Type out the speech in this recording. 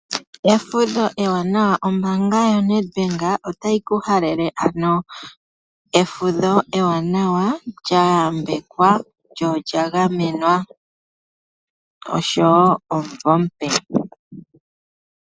Efudho ewanawa, Ombaanga yoNedbank otayi ku halele efudho ewanawa, lyayambekwa lyo olya gamenwa oshowo omuvo omupe.